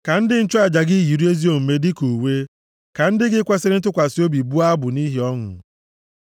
Ka ndị nchụaja gị yiri ezi omume gị dịka uwe; ka ndị gị kwesiri ntụkwasị obi bụọ abụ nʼihi ọṅụ.’ ”